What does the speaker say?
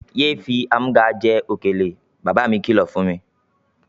Ye fi í amúga jẹ òkèlè! Baba mí kí lọ fún mi.